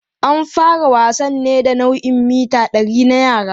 An fara wasannin ne da nau'in mita 100 na yara.